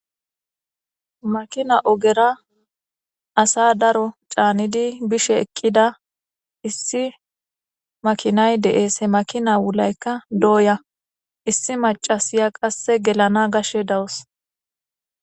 Makina ogera asa daro caanidi bishe eqqida issi makinay deees he makina wulaykka dooya issi macasiya qasse gelana gashshe dawos